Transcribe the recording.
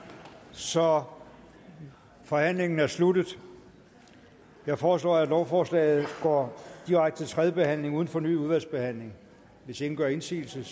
så forhandlingen er sluttet jeg foreslår at lovforslaget går direkte til tredje behandling uden fornyet udvalgsbehandling hvis ingen gør indsigelse